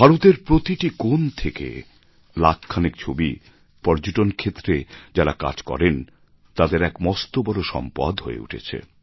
ভারতের প্রতি কোণ থেকে লাখখানেক ছবি একরকম পর্যটন ক্ষেত্রে যাঁরা কাজ করেন তাঁদের এক মস্ত বড় সম্পদ হয়ে উঠেছে